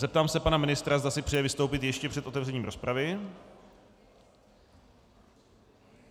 Zeptám se pana ministra, zda si přeje vystoupit ještě před otevřením rozpravy.